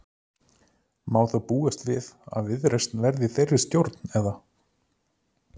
Má þá búast við að Viðreisn verði í þeirri stjórn eða?